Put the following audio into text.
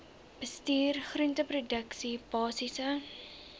bestuur groenteproduksie basiese